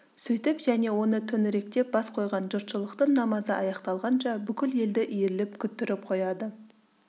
сөйтіп және оны төңіректеп бас қойған жұртшылықтың намазы аяқталғанша бүкіл елді иіріп күттіріп қояды